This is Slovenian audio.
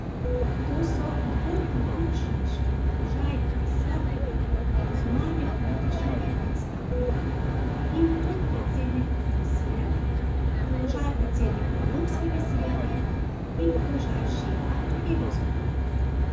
To so dvoklobučniški položaj visokega zunanjepolitičnega predstavnika in podpredsednika komisije, položaj predsednika Evropskega sveta, in položaj šefa evroskupine.